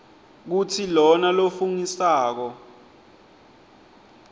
kutsi lona lofungisako